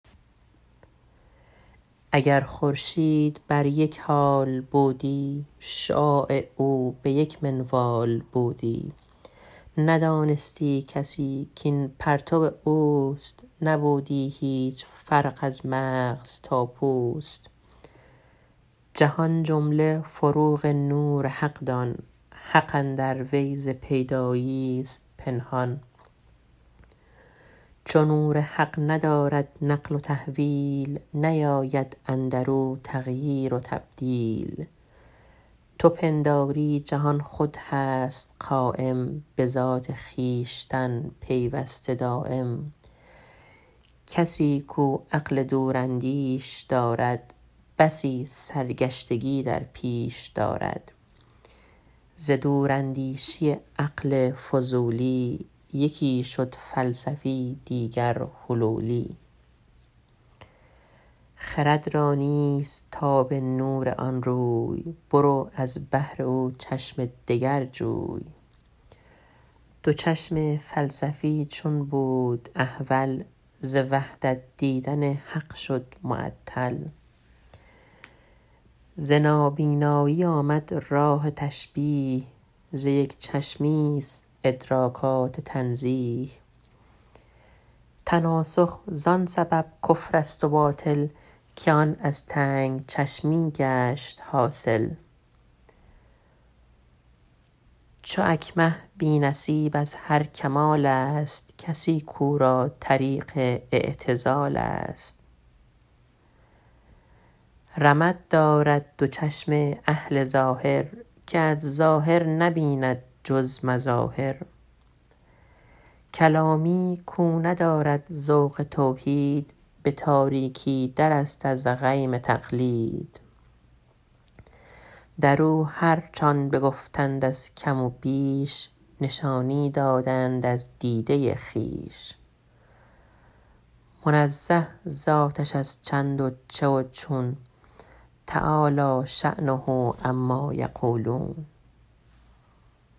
اگر خورشید بر یک حال بودی شعاع او به یک منوال بودی ندانستی کسی کین پرتو اوست نبودی هیچ فرق از مغز تا پوست جهان جمله فروغ نور حق دان حق اندر وی ز پیدایی است پنهان چو نور حق ندارد نقل و تحویل نیابد ذات او تغییر و تبدیل تو پنداری جهان خود هست دایم به ذات خویشتن پیوسته قایم کسی کاو عقل دوراندیش دارد بسی سرگشتگی در پیش دارد ز دوراندیشی عقل فضولی یکی شد فلسفی دیگر حلولی خرد را نیست تاب نور آن روی برو از بهر او چشمی دگر جوی دو چشم فلسفی چون بود احول ز وحدت دیدن حق شد معطل ز نابینایی آمد رای تشبیه ز یک چشمی است ادراکات تنزیه تناسخ زان جهت شد کفر و باطل که آن از تنگ چشمی گشت حاصل چو اکمه بی نصیب از هر کمال است کسی کاو را طریق اعتزال است رمد دارد دو چشم اهل ظاهر که از ظاهر نبیند جز مظاهر کلامی کاو ندارد ذوق توحید به تاریکی در است از غیم تقلید در او هرچ آن بگفتند از کم و بیش نشانی داده اند از دیده خویش منزه ذاتش از چند و چه و چون تعالیٰ شانه عما یقولون